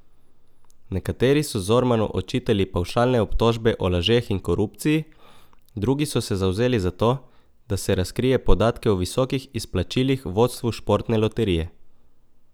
Nekateri so Zormanu očitali pavšalne obtožbe o lažeh in korupciji, drugi so se zavzeli za to, da se razkrije podatke o visokih izplačilih vodstvu Športne loterije.